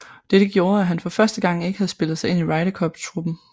Dette gjorde at han for første gang ikke havde spillet sig ind i Ryder Cup truppen